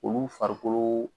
Olu farikolo